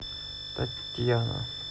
татьяна